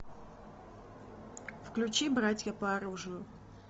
включи братья по оружию